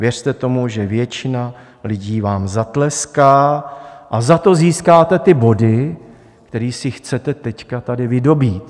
Věřte tomu, že většina lidí vám zatleská, a za to získáte ty body, které si chcete teď tady vydobýt.